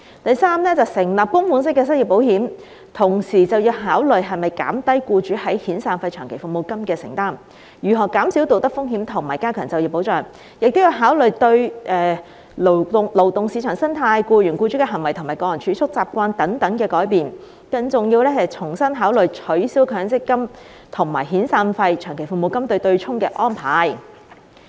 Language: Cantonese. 第三，成立供款式的失業保險，要考慮是否減低僱主在遣散費/長期服務金的承擔，如何減少道德風險及加強就業保障，亦要考慮到對勞動市場生態、僱員僱主的行為及個人儲蓄習慣等的改變，更要重新考慮取消強積金與遣散費/長期服務金"對沖"的安排。